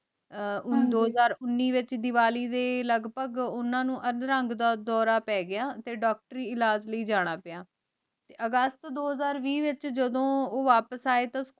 ਦੋ ਹਜ਼ਾਰ ਦੇ ਵਿਚ ਦਿਵਾਲੀ ਦੇ ਲਾਗ ਭਾਗ ਓਨਾਂ ਨੂ ਅਧ ਰੰਗ ਦਾ ਡੋਰ ਪਾ ਗਯਾ ਤੇ ਡਾਕਟਰੀ ਇਲਾਜ ਲੈ ਜਾਣਾ ਪਾਯਾ ਤੇ ਅਗਸਤ ਦਾ ਹਜ਼ਾਰ ਵੀ ਵਿਚ ਜਦੋਂ ਊ ਵਾਪਿਸ ਆਯ ਤਾਂ ਸਕੂਲ